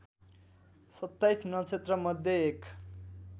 २७ नक्षत्रमध्ये एक